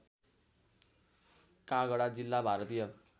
काँगडा जिल्ला भारतीय